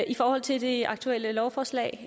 i forhold til det aktuelle lovforslag